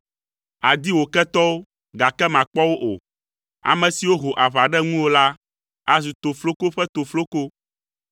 Àdi wò ketɔwo, gake màkpɔ wo o. Ame siwo ho aʋa ɖe ŋuwò la azu tofloko ƒe tofloko,